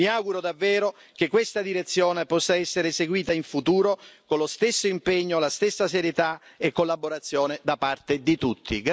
Mi auguro davvero che questa direzione possa essere seguita in futuro con lo stesso impegno, la stessa serietà e collaborazione da parte di tutti.